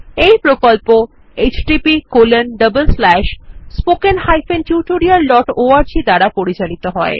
এই প্রকল্প httpspoken tutorialorg দ্বারা পরিচালিত হয়